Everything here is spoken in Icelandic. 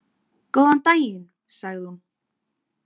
Góðan daginn, sagði hún.